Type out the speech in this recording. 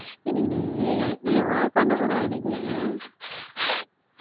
என்னை நீ என்னமோ பண்ண போறன்னு நினைக்கிறேன்